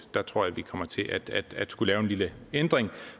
tror jeg vi kommer til at skulle lave en lille ændring